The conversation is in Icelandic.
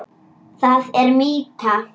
Það er mýta.